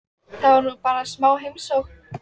Það var nú bara smá heimsókn.